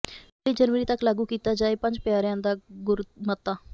ਪਹਿਲੀ ਜਨਵਰੀ ਤੱਕ ਲਾਗੂ ਕੀਤਾ ਜਾਏ ਪੰਜ ਪਿਆਰਿਆਂ ਦਾ ਗੁਰਮਤਾ